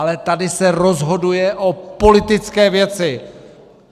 Ale tady se rozhoduje o politické věci.